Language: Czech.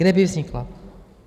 Kde by vznikla?